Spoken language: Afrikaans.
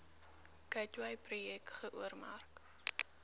gateway projek geoormerk